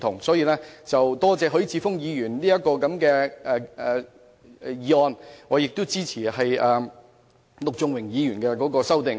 因此，我感謝許智峯議員提出議案，亦支持陸頌雄議員的修正案。